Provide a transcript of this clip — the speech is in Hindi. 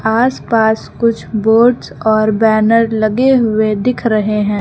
आस पास कुछ बर्ड्स और बैनर लगे हुए दिख रहे हैं।